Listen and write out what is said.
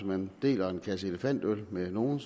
man deler en kasse elefantøl med nogle